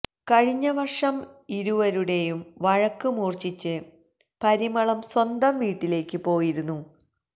കഴിഞ്ഞ വര്ഷം ഇരുവരുടെയും വഴക്ക് മൂര്ച്ഛിച്ച് പരിമളം സ്വന്തം വീട്ടിലേക്ക് പോയിരുന്നു